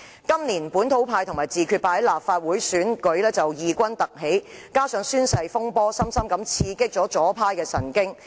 今年，本土派和自決派在立法會選舉異軍突起，加上宣誓風波深深刺激左派神經。